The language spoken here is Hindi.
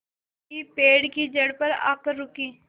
जीप पेड़ की जड़ पर आकर रुकी